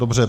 Dobře.